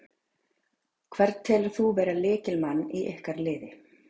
Hvern telur þú vera lykilmann í ykkar liði?